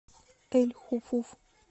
эль хуфуф